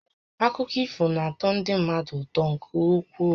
Akụkọ ifo na-atọ ndị mmadụ ụtọ nkè ukwuu